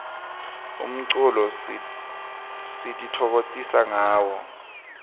umculo sititfokokotisa ngawo